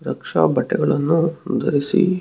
ರಕ್ಷಾ ಬಟ್ಟೆಗಳನ್ನು ಧರಿಸಿ --